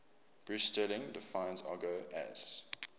bruce sterling defines argot as